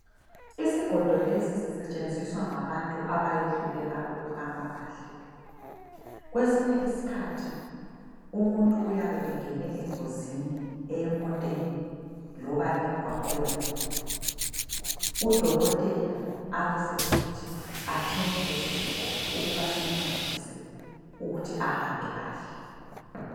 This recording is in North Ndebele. Isigodo lesi sisetshenziswa ngabantu abayehluleka ukuhamba kahle. Kwesinye isikhathi umuntu uyabe engene engozini eyemoteni loba emgwaqweni. Udokotela abasesithi athenge lesisigodo ukuba simncedise ukuthi ahambe kahle.